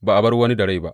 Ba a bar wani da rai ba.